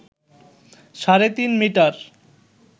সাড়ে তিন মিটার